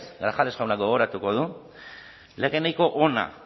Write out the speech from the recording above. grajales jaunak gogoratuko du lege nahiko ona